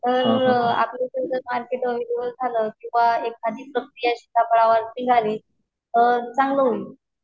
जर आपल्याकडे मार्केट वगैरे रिव्हर्स झालं किंवा एखादी या सिताफळावरती आली तर चांगलं होईल.